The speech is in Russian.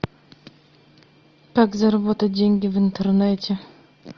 как заработать деньги в интернете